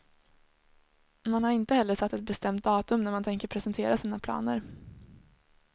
Man har inte heller satt ett bestämt datum när man tänker presentera sina planer.